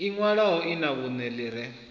inwalo lṅa vhunṋe ḽi re